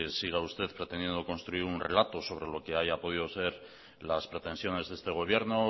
siga usted pretendiendo construir un relato sobre lo que haya podido ser las pretensiones de este gobierno o